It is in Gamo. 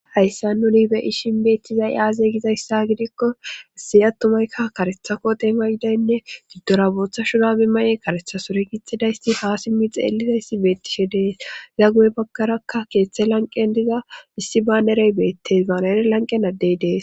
Hayssa nuni beyishin beettizay aaze gizayssa gidikko asiy attumaykka karethako deema idaynne giddora booththa shurabi maye karetha sore gixxidaysti haa simmi xeelizaysi beettishe dees gaggoy baggarakka keeththe lanqen diza issi baanerey beettes baanere lanqenaddey dees